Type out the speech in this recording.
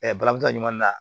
barabu ta ɲuman na